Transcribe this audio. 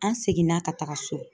An seginna ka taga so